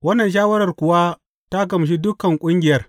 Wannan shawarar kuwa ta gamshi dukan ƙungiyar.